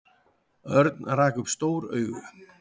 Örn rak upp stór augu.